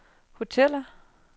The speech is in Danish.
hoteller